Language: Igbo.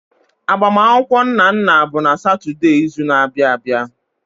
Agbamakwụkwọ Nnanna bụ n'Satọde izu na-abịa abịa.